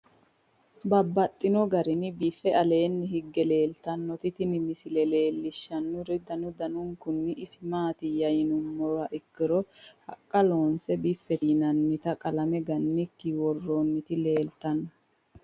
Babaxxittinno garinni biiffe aleenni hige leelittannotti tinni misile lelishshanori danu danunkunni isi maattiya yinummoha ikkiro haqqa loonse, biffette yinnannitta qalame gannikki woroonnitti leelittanno.